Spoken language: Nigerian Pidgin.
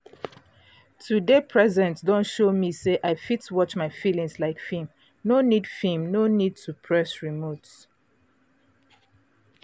to dey present don show me say i fit watch my feelings like film no need film no need to press remote.